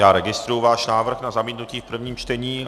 Já registruji váš návrh na zamítnutí v prvním čtení.